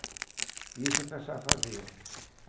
E isso o pessoal faziam.